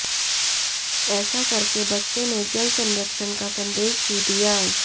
ऐसा करके बच्चों ने जल संरक्षण का संदेश भी दिया